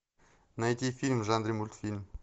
найти фильм в жанре мультфильм